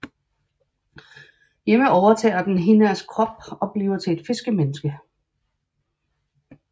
Hjemme overtager den Hinnerks krop og bliver til et fiskemenneske